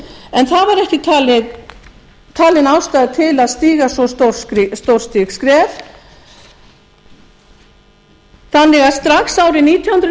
en það var ekki talin ástæða til að stíga svo stórstíg skref þannig að strax árið nítján hundruð